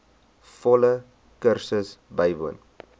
volle kursus bywoon